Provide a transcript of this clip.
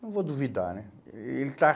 Não vou duvidar, né? Ele está